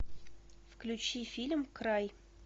включи фильм край